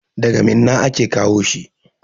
Daga Minna aka kawo shi.